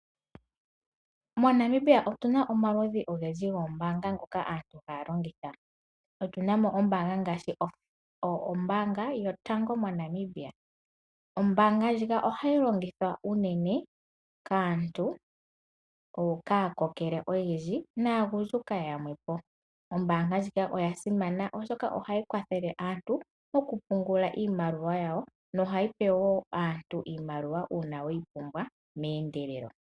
MoNamibia omuna omaludhi ogendji goombaanga ngoka aantu ha ya longitha. Otuna mo ombaanga ngaashi ombaanga yotango MoNamibia. Ombaanga ndjika ohayi longithwa unene kaantu mboka aakokele oyendji naagundjuka yamwepo . Ombaanga ndjika oyasimana oshoka ohayi kwathele aantu mokupungula iimaliwa yawo nohayipe woo aantu iimaliwa uuna ye yi pumbwa meendelelo.